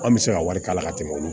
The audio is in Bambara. An bɛ se ka wari kala ka tɛmɛ olu